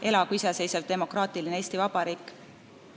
Elagu iseseisev demokratline Eesti vabariik.